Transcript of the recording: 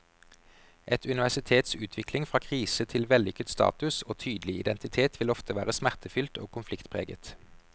Et universitets utvikling fra krise til vellykket status og tydelig identitet vil ofte være smertefylt og konfliktpreget.